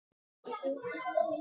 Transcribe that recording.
Jenni, hvaða mánaðardagur er í dag?